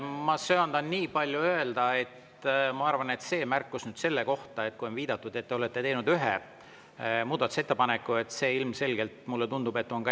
Ma söandan nii palju öelda, et ma arvan, et see märkus, et te olete teinud ühe muudatusettepaneku, tundub ilmselgelt mulle ebatäpsusena.